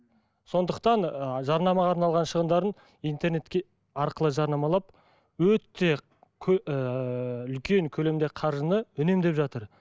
сондықтан ы жарнамаға арналған шығындарын интернетке арқылы жарнамалап өте ыыы үлкен көлемде қаржыны үнемдеп жатыр